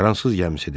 Fransız gəmisidir.